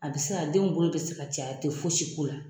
A bɛ se ka den in bolo bɛ se ka ci a tɛ fosi k'o la.